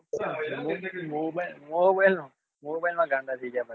Mobile mobile માં ગાંડા થઇ જાય છે બધા